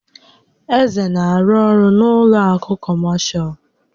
Eze na-arụ ọrụ n'ụlọ àkụ̀ kọmashal.